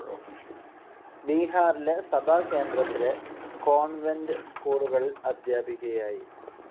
ബീഹാറിലെ സഭാകേന്ദ്രത്തിലെ കോൺവെന്റ്‌ സ്‌കൂളുകളിൽ അധ്യാപികയായി.